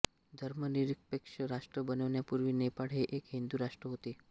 धर्मनिरपेक्ष राष्ट्र बनण्यापूर्वी नेपाळ हे एक हिंदू राष्ट्र होते